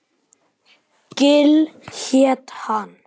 Gil hét hann.